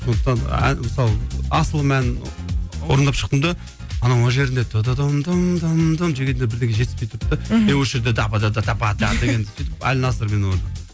сондықтан ән мысалы асылым әнін орындап шықтым да анау мына жерінде дегенде бірдеңе жетіспей тұрды да мхм е осы жерде сөйтіп әлинасырмен орындадым